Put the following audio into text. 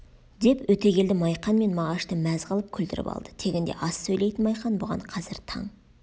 деп өтегелді майқан мен мағашты мәз қылып күлдіріп алды тегінде аз сөйлейтін майқан бұған қазір таң